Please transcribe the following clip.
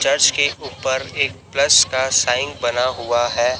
Church के ऊपर एक प्लस का साइन बना हुआ है।